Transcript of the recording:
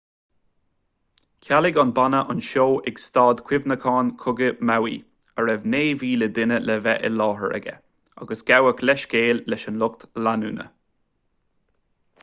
chealaigh an banna an seó ag staid chuimhneacháin cogaidh maui a raibh 9,000 duine le bheith i láthair aige agus gabhadh leithscéal leis an lucht leanúna